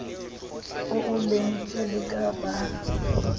oo lentswe le ka bang